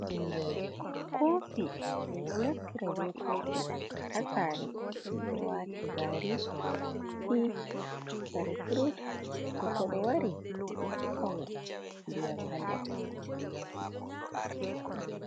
Koofi, min ɗo naftira be koofi ha saare, min ɗo waata gaari, tii, kare furut to koɗo wari min ɗo hokka mo ndiyam ha der.